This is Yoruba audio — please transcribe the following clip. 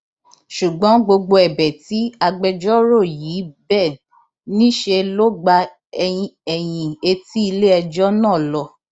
ṣùgbọn gbogbo ẹbẹ tí agbẹjọrò yìí bẹ níṣẹ ló gba ẹyìn etí iléẹjọ náà lọ